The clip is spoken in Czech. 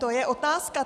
To je otázka.